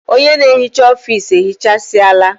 Ọnye na ehicha ofisi ehichasiala